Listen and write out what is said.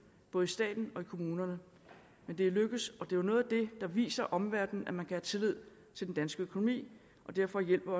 både i staten og i kommunerne men det er lykkedes og det er noget af det der viser omverdenen at man kan have tillid til den danske økonomi og derfor hjælper